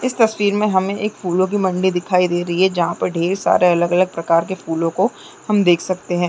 इस तस्वीर में हमें एक फूलों की मंडी दिखाई दे रही है जहाँ पर ढ़ेर सारे अलग-अलग प्रकारो के फूलों को हम देख सकते है।